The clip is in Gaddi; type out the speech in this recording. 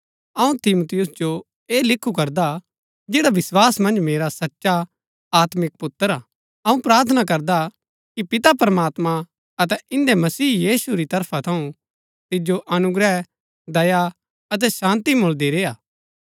अऊँ तिमुथियुस जो ऐह लिखु करदा जैडा विस्वास मन्ज मेरा सचा आत्मिक पुत्र हा अऊँ प्रार्थना करदा कि पिता प्रमात्मां अतै इन्दै मसीह यीशु री तरफा थऊँ तिजो अनुग्रह दया अतै शान्ती मुळदी रेय्आ